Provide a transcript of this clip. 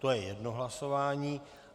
To je jedno hlasování.